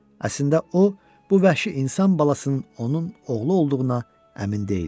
Əslində o, bu vəhşi insan balasının onun oğlu olduğuna əmin deyildi.